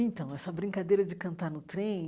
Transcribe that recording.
Então, essa brincadeira de cantar no trem,